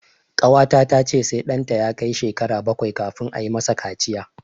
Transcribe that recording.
Ƙawata ta ce sai ɗanta ya kai shekara bakwai kafin ayi ma sa kaciya